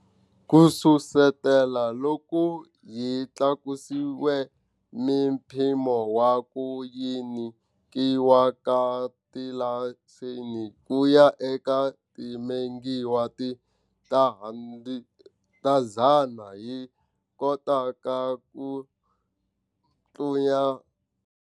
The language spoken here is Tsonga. Kususetela loko hi tlakusile mimpimo wa ku nyikiwa ka tilayisense kuya eka timegawati ta 100 hi Kota ka ku tluya.